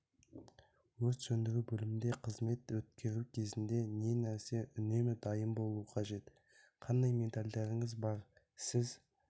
өрт сөндіру бөлімінде қызмет өткеру кезінде не нәрсеге үнемі дайын болу қажет қандай медальдарыңыз бар сіз